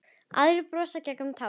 Aðrir brosa gegnum tárin.